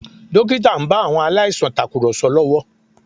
Dókítà ń bá àwọn aláìsàn tàkùrọ̀sọ lọ́wọ́